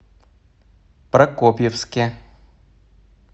прокопьевске